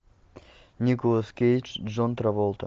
николас кейдж джон траволта